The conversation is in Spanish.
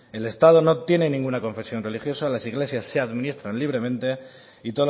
el estado no tiene ninguna confesión religiosa las iglesias se administran libremente y